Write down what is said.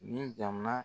Ni jamana